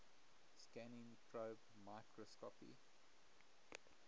scanning probe microscopy